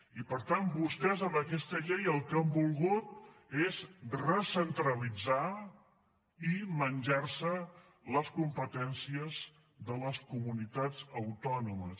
i per tant vostès amb aquesta llei el que han volgut és recentralitzar i menjar se les competències de les comunitats autònomes